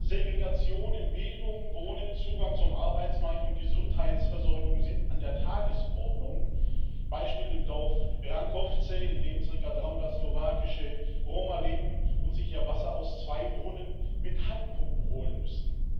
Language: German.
Segregation in Bildung, Wohnen, Zugang zum Arbeitsmarkt und Gesundheitsversorgung sind an der Tagesordnung, zum Beispiel im Dorf Rankovce, in dem zirka 300 slowakische Roma leben und sich ihr Wasser aus zwei Brunnen mit Handpumpen holen müssen.